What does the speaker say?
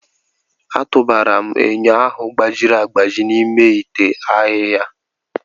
A tụbara m enyo ahụ gbajiri agbaji n'ime ite ahịhịa.